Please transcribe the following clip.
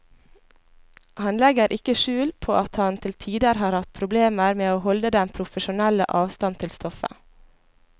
Han legger ikke skjul på at han til tider har hatt problemer med å holde den profesjonelle avstand til stoffet.